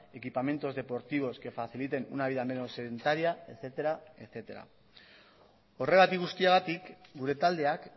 equipamientos deportivos que faciliten una vida menos sedentaria etcétera etcétera horregatik guztiagatik gure taldeak